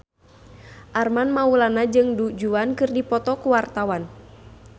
Armand Maulana jeung Du Juan keur dipoto ku wartawan